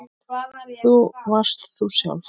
Þú varst þú sjálf.